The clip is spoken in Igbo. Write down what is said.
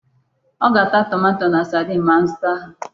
Ọ ga-ata tomato na sadin ma m zụta ha.